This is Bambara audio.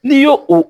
N'i y'o o